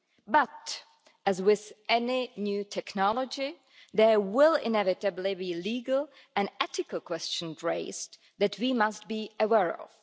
But as with any new technology, there will inevitably be legal and ethical questions raised that we must be aware of.